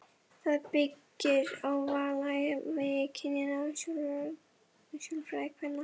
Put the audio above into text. Það byggir á valdajafnvægi kynjanna og sjálfræði kvenna.